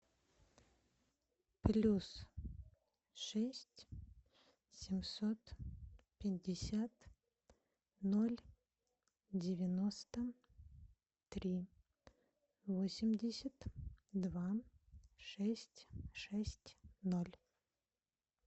плюс шесть семьсот пятьдесят ноль девяносто три восемьдесят два шесть шесть ноль